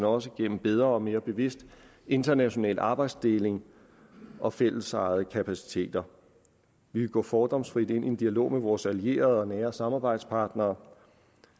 også igennem bedre og mere bevidst international arbejdsdeling og fællesejede kapaciteter vi vil gå fordomsfrit ind i en dialog med vores allierede og nære samarbejdspartnere